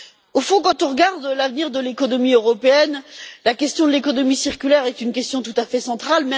Au fond, quand on regarde l'avenir de l'économie européenne, la question de l'économie circulaire est une question tout à fait centrale.